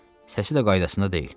Səsi də qaydasında deyil.